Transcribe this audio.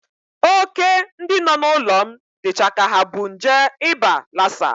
Óké ndị nọ n'ụlọ m dịcha ka ha bu nje ịba lasa.